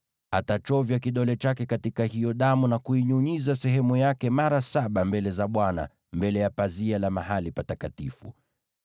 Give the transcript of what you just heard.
Atachovya kidole chake katika hiyo damu na kuinyunyiza sehemu yake mara saba mbele za Bwana mbele ya pazia la mahali patakatifu.